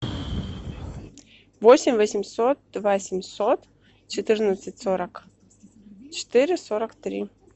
восемь восемьсот два семьсот четырнадцать сорок четыре сорок три